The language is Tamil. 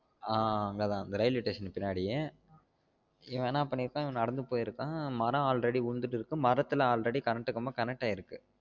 ஆஹ் அங்க தான் அந்த railway station பின்னாடி இவன் என்ன பண்ணிருக்கான் இவன் நடந்து போயிருக்கான் மரம் already உளுந்துட்டு இருக்கு மரத்துல already current கம்பம் connect ஆயிருக்கு